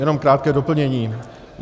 Jenom krátké doplnění.